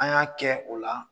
An y'a kɛ o la